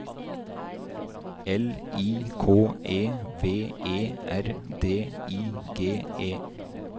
L I K E V E R D I G E